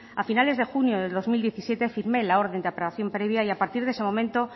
a finales de junio de dos mil diecisiete firmé la orden de aprobación previa y a partir de ese momento